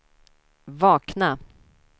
vakna